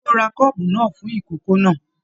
Ṣe o rà kọ́ọ́bú náà fún ikòkò náà?